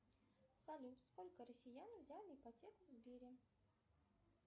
салют сколько россиян взяли ипотеку в сбере